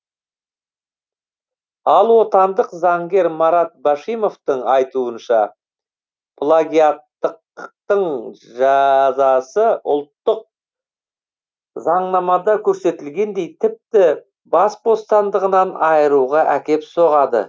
ал отандық заңгер марат башимовтың айтуынша плагиаттықтың жазасы ұлттық заңнамада көрсетілгендей тіпті бас бостандығынан айыруға әкеп соғады